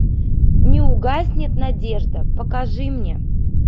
не угаснет надежда покажи мне